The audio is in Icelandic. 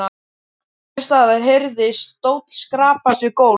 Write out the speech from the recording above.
Einhvers staðar heyrðist stóll skrapast við gólf.